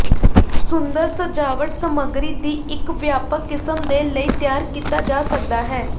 ਸੁੰਦਰ ਸਜਾਵਟ ਸਮੱਗਰੀ ਦੀ ਇੱਕ ਵਿਆਪਕ ਕਿਸਮ ਦੇ ਲਈ ਤਿਆਰ ਕੀਤਾ ਜਾ ਸਕਦਾ ਹੈ